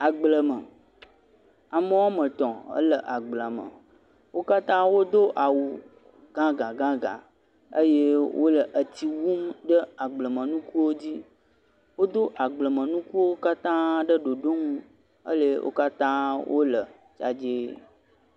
Agbleme, ame woame etɔ̃ wole agbleme. Wo katã wodo awu gãgãgãgã eye wole etsi wum ɖe agblemenukuwo dzi. Wod agblemenukuwo katãa ɖe ɖoɖonu eye wo katã wole dzadzee.